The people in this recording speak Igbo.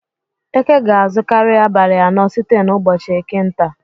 Eke ga-azukari abalị anọ site n'ụbọchị eke nta.